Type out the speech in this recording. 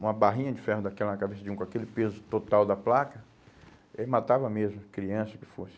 uma barrinha de ferro daquela na cabeça de um, com aquele peso total da placa, ele matava mesmo, criança, o que fosse.